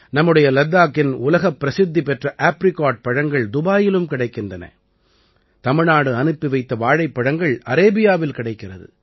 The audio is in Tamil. நம்முடைய லத்தாக்கின் உலகப் பிரசித்தி பெற்ற ஆப்ரிகாட் பழங்கள் துபாயிலும் கிடைக்கின்றன தமிழ்நாடு அனுப்பி வைத்த வாழைப்பழங்கள் அரேபியாவில் கிடைக்கிறது